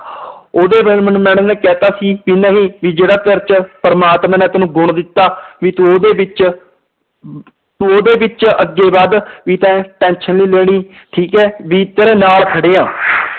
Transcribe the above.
ਉਹਦੇ ਬਾਰੇ ਮੈਨੂੰ madam ਨੇ ਕਹਿ ਦਿੱਤਾ ਸੀ ਵੀ ਨਹੀਂ ਵੀ ਜਿਹੜਾ ਤੇਰੇ ਚ ਪ੍ਰਮਾਤਮਾ ਨੇ ਤੈਨੂੰ ਗੁਣ ਦਿੱਤਾ, ਵੀ ਤੂੰ ਉਹਦੇ ਵਿੱਚ ਤੂੰ ਉਹਦੇ ਵਿੱਚ ਅੱਗੇ ਵੱਧ ਵੀ ਤੈਂ tension ਨੀ ਲੈਣੀ ਠੀਕ ਹੈ ਵੀ ਤੇਰੇ ਨਾਲ ਖੜੇ ਹਾਂ